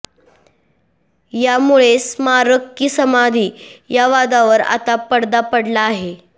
यामुळे स्मारक की समाधी या वादावर आता पडदा पडला आहे